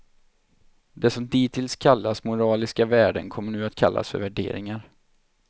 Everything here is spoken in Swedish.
Det som dittills kallats moraliska värden kom nu att kallas för värderingar.